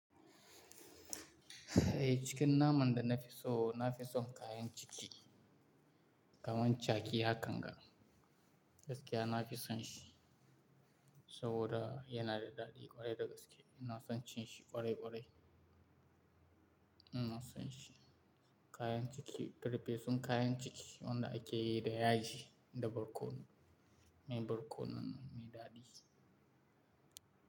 Eh, cikin naman da na fi so, na fi son kayan ciki Kaman caji hakan ga Gaskiya nafi son shi, sabida yana da daɗi ƙwarai da gaske Ina son cin shi ƙwarai ƙwarai. Ina son shi, kayan ciki, farfesun kayan ciki wanda ake yin sa da yaji da barkono, mai barkono mai daɗi.